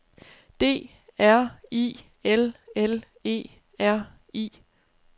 D R I L L E R I